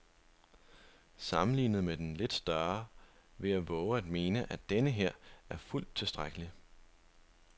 Sammenlignet med den lidt større vil jeg vove at mene, at denneher er fuldt tilstrækkelig.